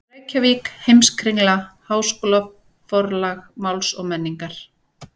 Reykjavík: Heimskringla- Háskólaforlag Máls og menningar.